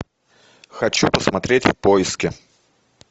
хочу посмотреть в поиске